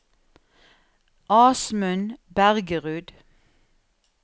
Asmund Bergerud